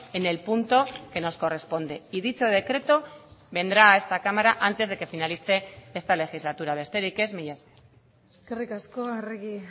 en el punto que nos corresponde y dicho decreto vendrá a esta cámara antes de que finalice esta legislatura besterik ez mila esker eskerrik asko arregi